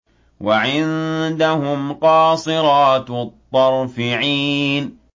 وَعِندَهُمْ قَاصِرَاتُ الطَّرْفِ عِينٌ